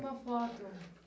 Uma foto.